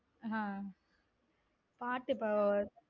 ஹம் பாட்டு இப்போ